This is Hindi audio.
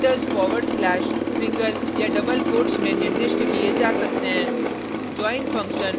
डिलिमीटर्स फॉरवर्ड स्लेश सिंगल या डबल कोट्स में निर्दिष्ट किये जा सकते हैं